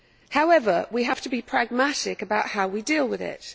However, we have to be pragmatic about how we deal with it.